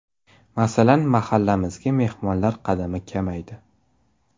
Masalan, mahallamizga mehmonlar qadami kamaydi.